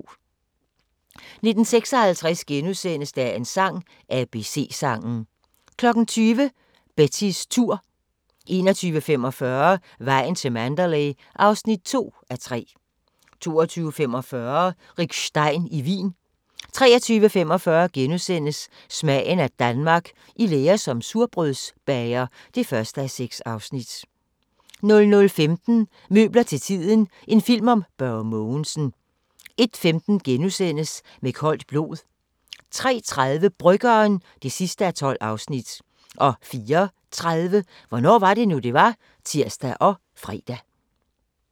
19:56: Dagens sang: ABC-sangen * 20:00: Betties tur 21:45: Vejen til Mandalay (2:3) 22:45: Rick Stein i Wien 23:45: Smagen af Danmark – I lære som surdejsbager (1:6)* 00:15: Møbler til tiden – en film om Børge Mogensen 01:15: Med koldt blod * 03:30: Bryggeren (12:12) 04:30: Hvornår var det nu, det var? (tir og fre)